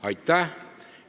" Aitäh!